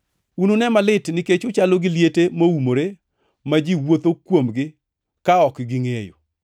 “Unune malit nikech uchalo gi liete moumore ma ji wuotho kuomgi ka ok gingʼeyo.”